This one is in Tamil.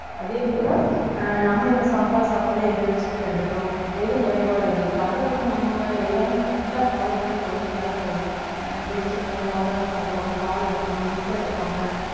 அதே போல ஆஹ் நம்ம இப்ப சாப்பாடு சாப்பாட்டுல என்னென்ன சத்து எடுக்கிறோம் எது குறைபாடு இருக்கு அதை வந்து நம்ம எல்லாமே correct ஆ follow பண்ணி கொண்டு வந்தாலே போதும் ஆஹ் பேரிச்சம்பழம் பாதாம் சாப்பிடுவாங்க பால் எடுப்பாங்க முட்டை எடுப்பாங்க